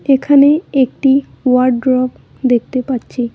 এখানে একটি ওয়ারড্রব দেখতে পাচ্ছি।